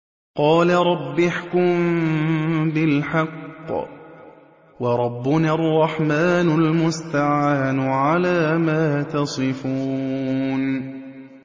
قَالَ رَبِّ احْكُم بِالْحَقِّ ۗ وَرَبُّنَا الرَّحْمَٰنُ الْمُسْتَعَانُ عَلَىٰ مَا تَصِفُونَ